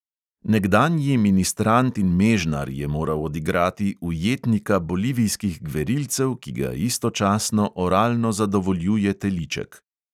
Nekdanji ministrant in mežnar je moral odigrati ujetnika bolivijskih gverilcev, ki ga istočasno oralno zadovoljuje teliček.